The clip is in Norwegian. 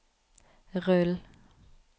rull